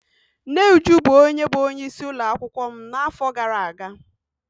Nne Uju bụ onye bụ onye isi ụlọakwụkwọ m n'afọ gara aga.